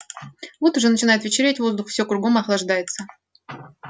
вот уже начинает вечереть воздух всё кругом охлаждается